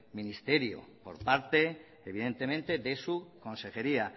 ministerio por parte evidentemente de su consejería